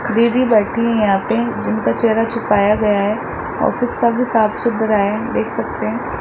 दीदी बैठी हैं यहां पे जिनका चेहरा छुपाया गया है ऑफिस काफी साफ सुथरा है देख सकते हैं।